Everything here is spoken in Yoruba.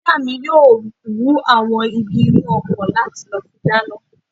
Ìyá mi yóò wú àwọn igi inú oko láti lọ fi dáná